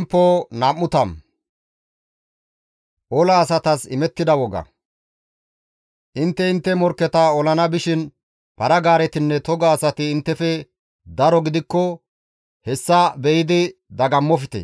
Intte intte morkketa olana bishin para-gaaretinne toga asati inttefe daro gidikko hessa be7idi dagammofte;